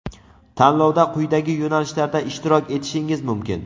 Tanlovda quyidagi yo‘nalishlarda ishtirok etishingiz mumkin:.